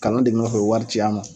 Kanu de nɔfɛ u bɛ wari ci n ma